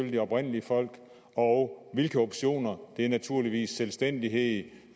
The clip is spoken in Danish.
de oprindelige folk og hvilke optioner det er naturligvis selvstændighed